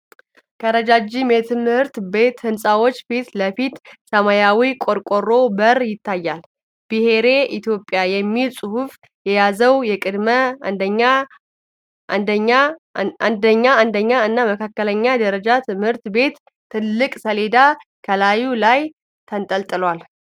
ከረጃጅም የትምህርት ቤት ህንፃዎች ፊት ለፊት ሰማያዊ የቆርቆሮ በር ይታያል። 'ብሔሬ ኢትዮጵያ' የሚል ጽሑፍ የያዘው የቅድመ አንደኛ፣ አንደኛ እና መካከለኛ ደረጃ ትምህርት ቤት ትልቅ ሰሌዳ ከላዩ ላይ ተንጠልጥሏል።